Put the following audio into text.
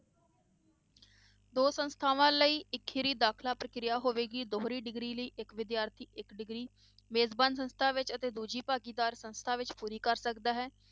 ਦੋ ਸੰਸਥਾਵਾਂ ਲਈ ਇਕਹਰੀ ਦਾਖਲਾ ਪ੍ਰਕਿਰਿਆ ਹੋਵੇਗੀ, ਦੋਹਰੀ degree ਲਈ ਇੱਕ ਵਿਦਿਆਰਥੀ ਇੱਕ degree ਮੇਜ਼ਬਾਨ ਸੰਸਥਾ ਵਿੱਚ ਅਤੇ ਦੂਜੀ ਭਾਗੀਦਾਰੀ ਸੰਸਥਾ ਵਿੱਚ ਪੂਰੀ ਕਰ ਸਕਦਾ ਹੈ।